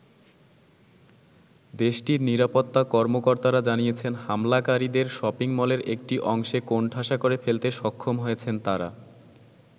দেশটির নিরাপত্তা কর্মকর্তারা জানিয়েছেন হামলাকারীদের শপিং-মলের একটি অংশে কোণঠাসা করে ফেলতে সক্ষম হয়েছেন তারা।